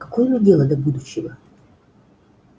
какое мне дело до будущего